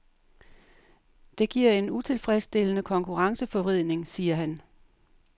Det giver en utilfredsstillende konkurrenceforvridning, siger han.